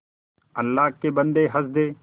अल्लाह के बन्दे हंस दे